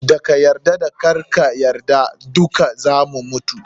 Da ka yarda da karka yarda dukka zamu mutu.